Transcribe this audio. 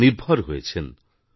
স্বনির্ভর হয়েছেন